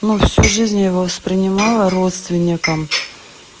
ну всю жизнь я его воспринимала родственником